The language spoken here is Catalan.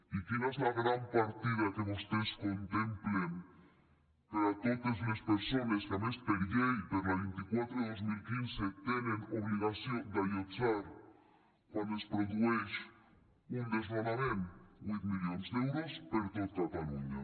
i quina és la gran partida que vostès contemplen per a totes les persones que a més per llei per la vint quatre dos mil quinze tenen obligació d’allotjar quan es produeix un desnonament huit milions d’euros per tot catalunya